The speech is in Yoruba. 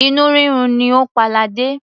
Inú rírun ni ó pa ladé.